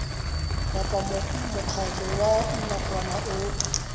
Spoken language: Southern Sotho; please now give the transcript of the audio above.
kapa mokgatlo wa nakwana o